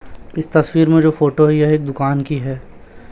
इस तस्वीर में जो फोटो है यह एक दुकान की है।